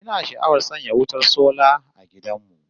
Ina sha'awar sanya wutar sola a gidan mu